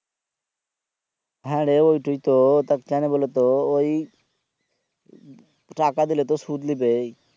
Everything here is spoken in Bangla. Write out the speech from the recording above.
হ্যাঁ রে ওটাই তো টা কোনো বোলো তো ওই টাকা দিলে তো সুদ লিবেই